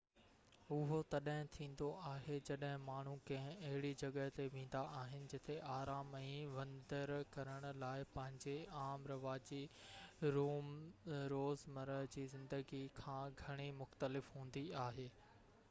اهو تڏهن ٿيندو آهي جڏهن ماڻهو ڪنهن اهڙي جڳهہ تي ويندا آهن جتي آرام ۽ وندر ڪرڻ لاءِ پنهنجي عام رواجي روزمره جي زندگي کان گهڻي مختلف هوندي آهي